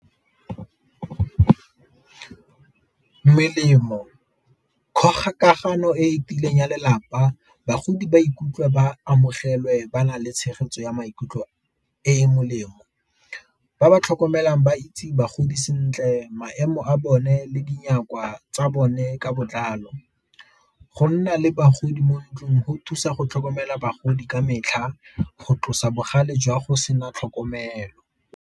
Melemo, kgokagano e e tiileng ya lelapa bagodi ba ikutlwe ba amogelwe ba na le tshegetso ya maikutlo e e molemo. Ba ba tlhokomelang ba itse bagodi sentle maemo a bone le tsa bone ka botlalo, go nna le bagodi mo ntlung go thusa go tlhokomela bagodi ka metlha go tlosa bogale jwa go sena tlhokomelo.